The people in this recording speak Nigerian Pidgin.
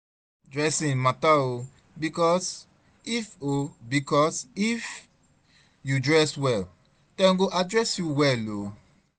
dressing mata o bikos if o bikos if yu dress wel dem go address yu wel o